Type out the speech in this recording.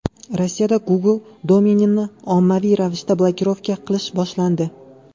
Rossiyada Google domenini ommaviy ravishda blokirovka qilish boshlandi.